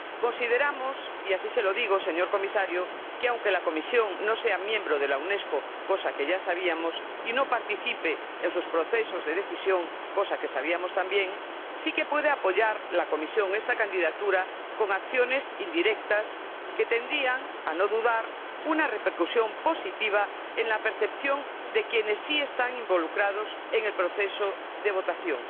consideramos —y así se lo digo, señor Comisario que, aunque la Comisión no sea miembro de la Unesco —cosa que ya sabíamos— ni participe en sus procesos de decisión —cosa que sabíamos, también—, la Comisión sí que puede apoyar esta candidatura con acciones indirectas que tendrían, a no dudar, una repercusión positiva en la percepción de quienes están involucrados en el proceso de votación.